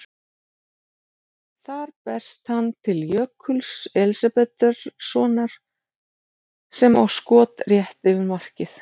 Þar berst hann til Jökuls Elísabetarsonar sem á skot rétt yfir markið.